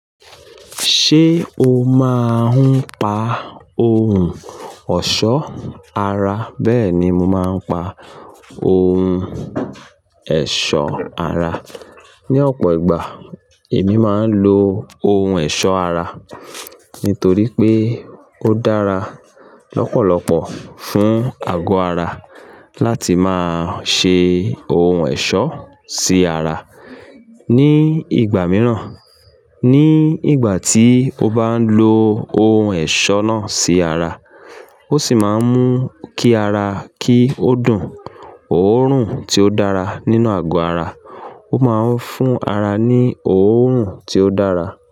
Ṣé o máa ń pa ohun ọ̀ṣọ́ ara? Bẹ́ẹ̀ni, mo máa ń pa ohun ẹ̀ṣọ́ ara. Ni ọ̀pọ̀ ìgbà, èmi máa ń lo ohun ẹ̀ṣọ́ ara nítorí pé ó dára lọ́pọ̀lọpọ̀ fún àgọ́ ara láti máa ṣe ohun ẹ̀ṣọ́ sí ara ní ìgbà mìíràn. Ní ìgbà tí o bá ń lo ohun ẹ̀ṣọ́ náà sí ara, ó sì máa ń mú kí ara kí ó dùn òórùn tí ó dára nínú àgọ́ ara. Ó máa ń fún ara ní òórùn tí ó dára.